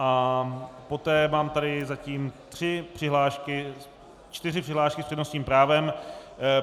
A poté mám tady zatím tři přihlášky, čtyři přihlášky s přednostním právem.